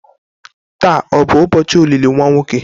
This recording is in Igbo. Taa ọ bụ ụbọchị olili nwa nwoke?